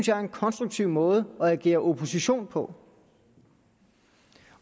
jeg var en konstruktiv måde at agere opposition på